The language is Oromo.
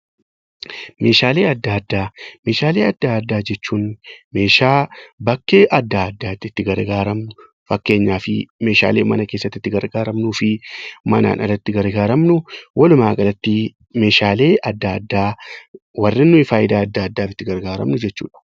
Meeshaalee addaa addaa Meeshaalee addaa addaa jechuun meeshaa bakkee addaa addaatti itti gargaaramnu, fakkeenyaaf Meeshaalee mana keessatti itti gargaaramnuuf fi manaan ala itti gargaaramnu, walumaa galatti Meeshaalee addaa addaa warreen fayidaa addaa addaaf itti gargaaramnu jechuudha.